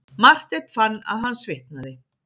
Marteinn fann að hann svitnaði.